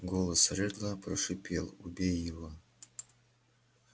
голос реддла прошипел убей его